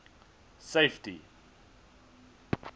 safety